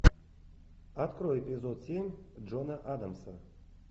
открой эпизод семь джона адамса